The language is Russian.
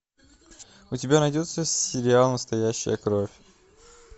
у тебя найдется сериал настоящая кровь